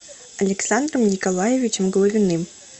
александром николаевичем головиным